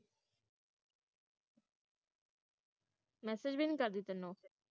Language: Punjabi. message ਵੀ ਨੀ ਕਰਦੀ ਤੈਨੂੰ